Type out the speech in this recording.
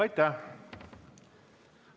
Aitäh!